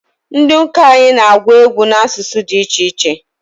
Ndi uka anyị na-agwụ egwu n'asụsụ di ichiche